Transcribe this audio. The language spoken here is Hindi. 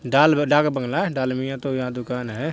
डाल डाक बंगला डालमिया तो यहाँ दुकान है।